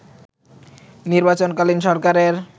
নির্বাচনকালীন সরকারের